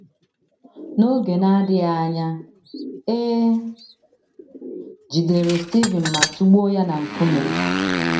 N’oge na - adịghị anya, e jidere Stivin ma tụgbuo ya na nkume.